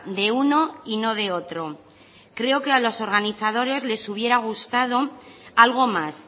de uno y no de otro creo que a los organizadores les hubiera gustado algo más